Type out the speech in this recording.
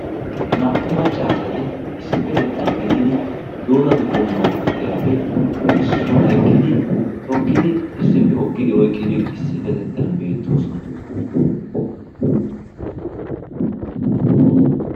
naa''u maccaasati issippetettan gididi doodatu qommuwaa puutiyaappe issuwaa ekkidi tokkidi issippe hokkidi oyqqidi issippetettan beettoosona